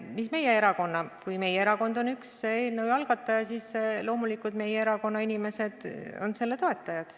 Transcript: Mis meie erakonda puutub, siis kui meie erakond on üks eelnõu algataja, siis loomulikult meie erakonna inimesed on selle toetajad.